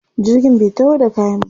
Jirgin bai taho da kayan ba.